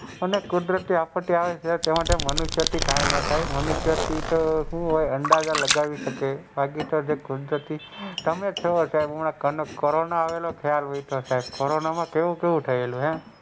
એમાં કુદરતી આપત્તિ આવે એટલે મનુષ્ય થી કાઈ ના થાય મનુષ્ય થીતો હું ઓય અંદાજા લગાવી શકાય બાકી તો જે કુદરતી તમે જો સાહેબ હમણાં કોરોના આવેલો તેમાં કેવું કેવું થયેલું.